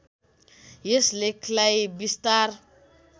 यस लेखलाई विस्तार